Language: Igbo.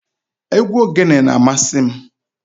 Egwu ogene na-amasị m.